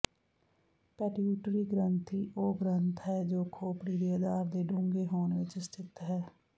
pituitary ਗ੍ਰੰਥੀ ਉਹ ਗ੍ਰੰਥ ਹੈ ਜੋ ਖੋਪੜੀ ਦੇ ਅਧਾਰ ਦੇ ਡੂੰਘੇ ਹੋਣ ਵਿੱਚ ਸਥਿਤ ਹੈ